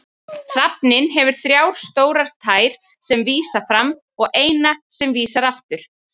Hrafninn hefur þrjá stórar tær sem vísa fram og eina sem vísar aftur.